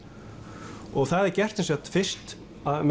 og það er gert sem sagt fyrst